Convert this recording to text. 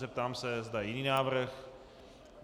Zeptám se, zda je jiný návrh.